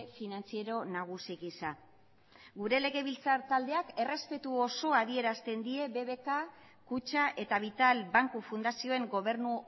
finantziero nagusi gisa gure legebiltzar taldeak errespetu osoa adierazten die bbk kutxa eta vital banku fundazioen gobernu